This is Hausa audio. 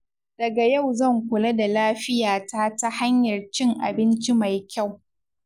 Daga yau zan kula da lafiyata ta hanyar cin abinci mai kyau.